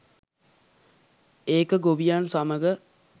ඒක ගොවියන් සමග